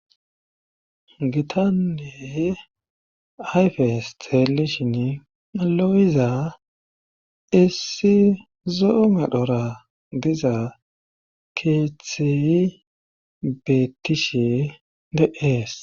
Gitanney ayfe hes teelishin lo'iza issi zoome dhora diza keethi bettishe deees.